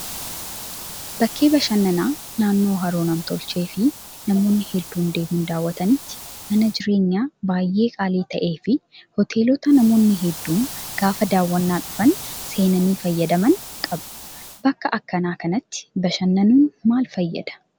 Bakkee bashannanaa naannoo haroo nam-tolchee fi namoonni hedduun deemuun daawwatanitti mana jireenyaa baay'ee qaalii ta'ee fi hoteelota namoonni hedduun gaafa daawwannaa dhufan seenani fayyadaman qaba. Bakka akkanaa kanatti bashannanuun maal fayyadaa?